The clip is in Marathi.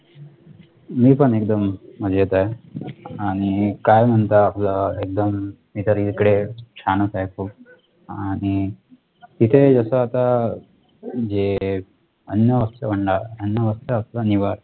मी पण एकदम मजेत आहे आणि काय म्हणता आपलं एकदम मी तर इकडे छान च आहे खूप आणि इथे जस आता म्हणजे अन्न वस्त्र अन्न वस्त्र असत निवारा